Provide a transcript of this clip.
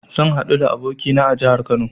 Zan haɗu da abokina a jahar Kano